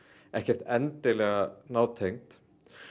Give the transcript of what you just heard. ekkert endilega nátengd